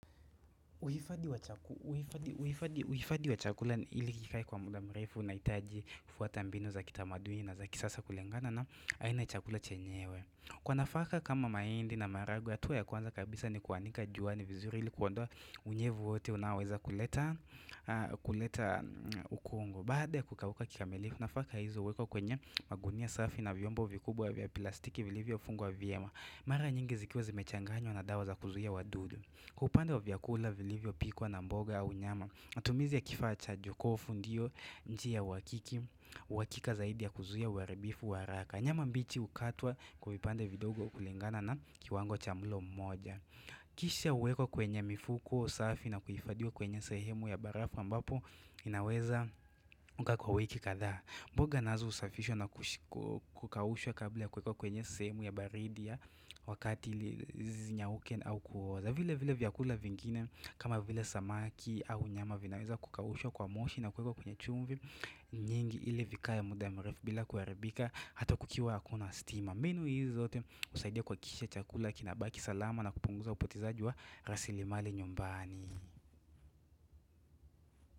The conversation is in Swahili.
Uhifadhi wa chakula ili kikae kwa muda mrefu unahitaji kufuata mbinu za kitamaduini na za kisasa kulingana na aina ya chakula chenyewe Kwa nafaka kama mahindi na maharagwe hatua ya kwanza kabisa ni kuanika juani vizuri ili kuonda unyevu wote unaowezakuleta huleta ukungo Baada ya kukauka kikamilifu nafaka hizo huwekwa kwenye magunia safi na vyombo vikubwa vya plastiki vilivyofungwa vyema Mara nyingi zikiwa zimechanganywa na dawa za kuzuia wadudu kwa upande wa vyakula vilivyopikwa na mboga au nyama matumizi ya kifaa cha jokofu ndio njia ya uhakiki uhakika zaidi ya kuzuia uharibifu wa haraka nyama mbichi hukatwa kwa vipande vidogo kulingana na kiwango cha mlo mmoja Kisha huwekwa kwenye mifuko safi na kuhifadhiwa kwenye sehemu ya barafu ambapo inaweza kukaa kwa wiki kadhaa mboga nazo husafishwa na kukaushwa kabla ya kuwekwa kwenye sehemu ya baridi ya Wakati zinyauke au kuoza vile vile vyakula vingine kama vile samaki au nyama vinaweza kukaushwa kwa moshi na kuwekwa kwenye chumvi nyingi ili vikae muda mrefu bila kuharibika hata kukiwa hakuna stima mbinu hizi zote husaidia kuhakikisha chakula kinabaki salama na kupunguza upotezaji wa rasilimali nyumbani.